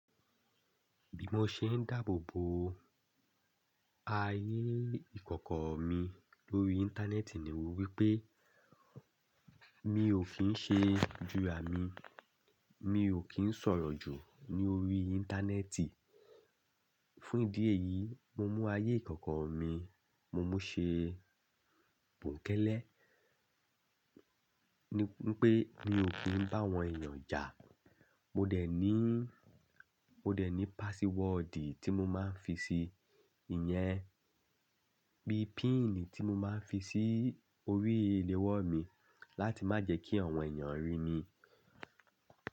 Bí mo ṣe ń dáàbò bo ayé ìkọ̀kọ̀ mi lórí Íńtánẹ́ẹ̀tì ni wí pé mi ò kí ń ṣe jura mi, mi ò kí ń sọ̀rọ̀ jù lórí Íńtánẹ́ẹ̀tì. Fún ìdí èyí, mo mú ayé ìkọ̀kọ̀ mi, mo mú ṣe bùnkẹ́lẹ́ ni pé mi ò kí ń bá àwọn èèyàn ja. Mo dẹ̀ ní, mo dẹ̀ ní pásíwọ́ọ̀dì tí mo máa ń fi si ìyẹn, bí pínì tí mo máa ń fi sí orí ìléwọ́ mi láti má jẹ kí àwọn èèyàn rí mi.